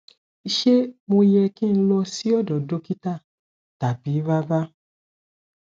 ṣé mo yẹ ki n lọ sí ọdọ dokita tabi rara